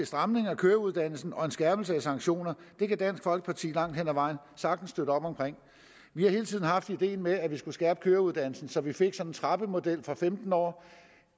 stramning af køreuddannelsen og en skærpelse af sanktioner det kan dansk folkeparti langt hen ad vejen sagtens støtte op om vi har hele tiden haft ideen med at vi skulle skærpe køreuddannelsen så vi fik en trappemodel køreuddannelse fra femten år